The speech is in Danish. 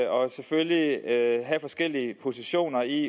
og selvfølgelig have forskellige positioner i